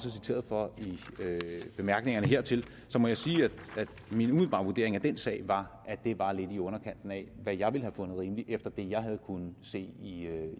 er citeret for i bemærkningerne hertil så må jeg sige at min umiddelbare vurdering af den sag var at det var lidt i underkanten af hvad jeg ville have fundet rimeligt efter det jeg havde kunnet se